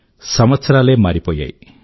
సంవత్సరాలే మారిపోయాయి